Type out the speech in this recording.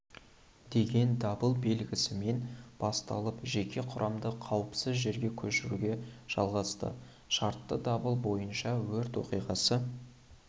деген дабыл белгісімен басталып жеке құрамды қауіпсіз жерге көшіруге жалғасты шартты дабыл бойынша өрт оқиғасы